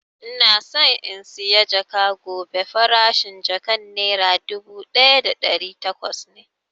Ina so in saya jaka gobe, farashin jakan nera dubu ɗaya da ɗari takwas ne